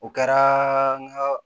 O kɛra ŋaa